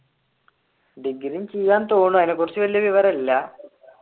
degree ചെയാം തോന്നുന്നു അതിനെ കുറിച്ച് വലിയ വിവരം ഇല്ല